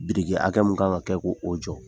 Biriki hakɛ mun ka kan ka kɛ ko o jɔ,